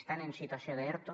estan en situació d’erto